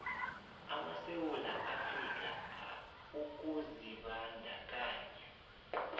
amasewula afrika ukuzibandakanya